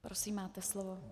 Prosím, máte slovo.